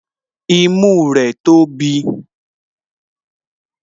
Imú rẹ̀ tóbi